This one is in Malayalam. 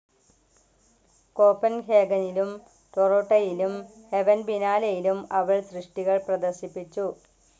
കോപ്പൻഹേഗനിലും ടോറോട്ടയിലും ഹെവൻ ബിനാലയിലും അവൾ സൃഷ്ടികൾ പ്രദർശിപ്പിച്ചു.